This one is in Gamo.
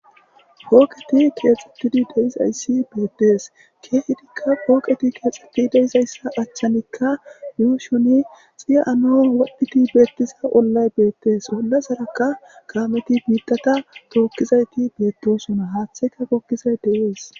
pooqeti keexxettidi deizayssi beettees keehidikka pooqeti keexxetti deizayssa achchanikka yuushoni xiya7anoon wadhdphiti beettisa ollay beettees olla sarakka kaameti biittata tookkizayti beettosona haatheka gokkizay deyees